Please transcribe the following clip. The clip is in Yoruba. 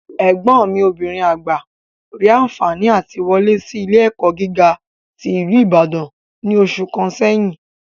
Ẹ̀gbọ́n mi obìnrin àgbà rí anfààní àti wọlé sí ilé-ẹ̀kọ́ gíga tí ìlú Ìbàdàn ní oṣù kan sẹ́yìn